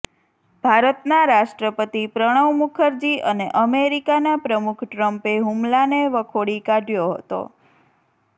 ભારતનાં રાષ્ટ્રપતિ પ્રણવ મુખરજી અને અમેરિકાનાં પ્રમુખ ટ્ર્મ્પે હુમલાને વખોડી કાઢયો હતો